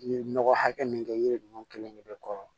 I ye nɔgɔ hakɛ min kɛ yiri ninnu kelen de bɛ kɔrɔ